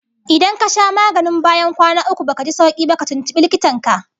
Idan ka sha maganin bayan kwana uku baka ji sauki ba, tuntubi likitan ka